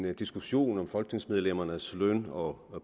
en diskussion om folketingsmedlemmernes løn og